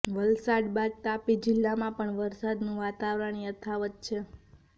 વલસાડ બાદ તાપી જીલ્લામાં પણ વરસાદનું વાતાવરણ યથાવત છે